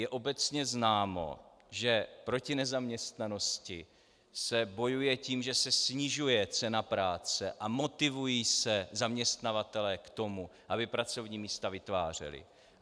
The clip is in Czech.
Je obecně známo, že proti nezaměstnanosti se bojuje tím, že se snižuje cena práce a motivují se zaměstnavatelé k tomu, aby pracovní místa vytvářeli.